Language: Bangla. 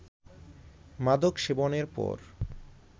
মাদক সেবনের পর